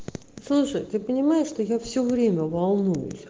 слушай ты понимаешь что я все время волну